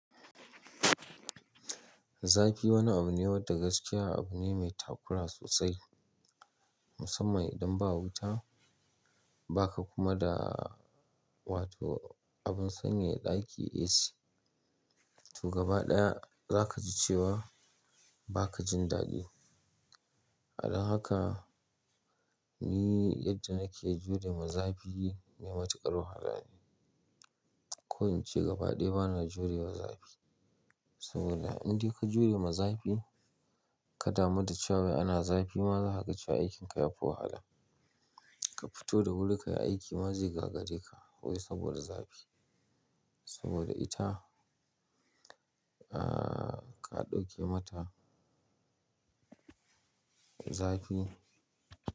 Zafi wani abu ne wanda gaskiya abu ne mai takura sosai, musamman idan ba wuta, ba ka kuma da wato abin sanyaya ɗaki AC. To gaba ɗaya za ka ji cewa ba ka jin daɗi. Don haka ni yadda nake jurewa zafi mai matuƙar wahala ne. Ko in ce gaba ɗaya bana jurewa zafi. Saboda in dai ka jurewa zafi, ka damu da cewa ana zafi, ma za ka ga cewa aikin ka yafi wahala. Ka fito da wuri ka yi aiki ma zai gagare ka wai saboda zafi. Saboda ita, aa ka ɗauke mata zafi.